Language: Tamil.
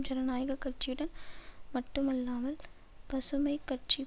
ஜனநாயக கட்சியுடன் மட்டுமில்லாமல் பசுமை கட்சி